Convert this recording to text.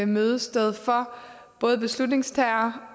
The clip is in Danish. mødested for både beslutningstagere